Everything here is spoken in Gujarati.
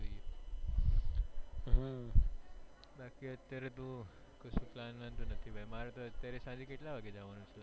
બાકી અત્યારે તો કશું plan નથી મારે અત્યારે તો ખાલી કેટલા વાગે જવાનું છે